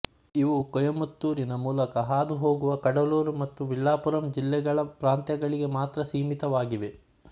ಇವು ಕೋಯಮತ್ತೂರಿನ ಮೂಲಕ ಹಾದು ಹೋಗುವ ಕಡಲೂರು ಮತ್ತು ವಿಲ್ಲಾಪುರಂ ಜಿಲ್ಲೆಗಳ ಪ್ರಾಂತಗಳಿಗೆ ಮಾತ್ರ ಸೀಮಿತವಾಗಿವೆ